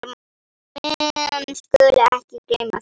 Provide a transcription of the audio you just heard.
Menn skulu ekki gleyma því.